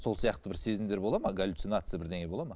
сол сияқты бір сезімдер болады ма галюцинация бірдеңе болады ма